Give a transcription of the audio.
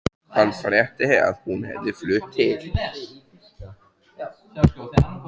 Hann frétti að hún hefði flutt til